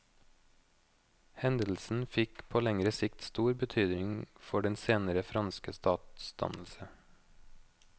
Hendelsen fikk på lengre sikt stor betydning for den senere franske statsdannelse.